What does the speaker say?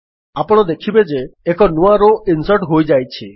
ଆପଣ ଦେଖିବେ ଯେ ନୂଆ ରୋ ଇନ୍ସର୍ଟ ହୋଇଯାଇଛି